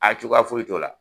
cogoya foyi t'o la.